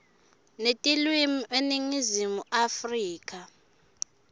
netilwimi eningizimu afrika